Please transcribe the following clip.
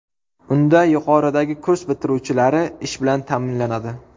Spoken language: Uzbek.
Unda yuqoridagi kurs bitiruvchilari ish bilan ta’minlanadi.